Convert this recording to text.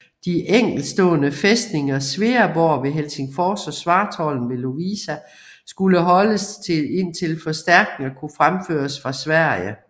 De enkeltstående fæstninger Sveaborg ved Helsingfors og Svartholm ved Lovisa skulle holdes indtil forstærkninger kunne fremføres fra Sverige